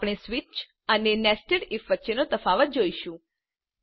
આપણે સ્વીચ અને nested if વચ્ચેનો તફાવત જોઈશું